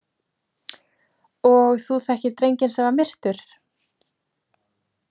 Og þú þekkir drenginn sem var myrtur?